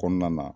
Kɔnɔna na